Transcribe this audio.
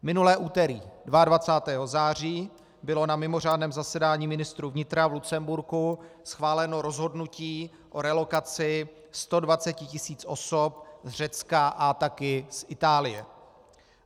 Minulé úterý, 22. září, bylo na mimořádném zasedání ministrů vnitra v Lucemburku schváleno rozhodnutí o relokaci 120 tis. osob z Řecka a také z Itálie.